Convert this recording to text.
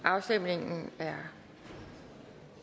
afstemningen er